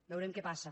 veurem què passa